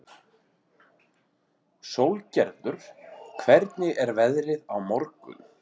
Sólgerður, hvernig er veðrið á morgun?